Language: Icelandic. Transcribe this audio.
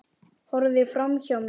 Horfði framhjá mér.